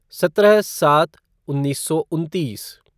सत्रह सात उन्नीस सौ उन्तीस